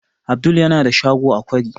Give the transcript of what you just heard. Abdul yana da shago a kwari